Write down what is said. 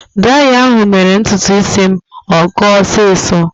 Draya ahụ mere ntutu isi m akọọ ọsiisọ.